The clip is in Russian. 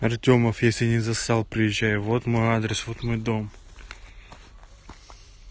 артёмов если не зассал приезжай вот мой адрес вот мой дом